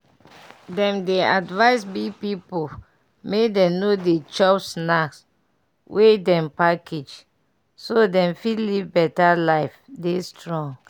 dem dey advise big pipu make dem no dey chop snack wey dem package so dem fit live better life dey strong.